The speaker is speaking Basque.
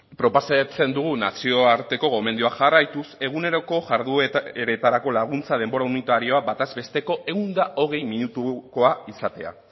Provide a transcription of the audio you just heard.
proposatzen dugu nazioarteko gomendioak jarraituz eguneroko jardueretarako laguntza denbora unitarioa bataz besteko ehun eta hogei minutukoa izatea